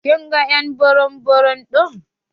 Kin ga ƴ'an burum burum ɗin?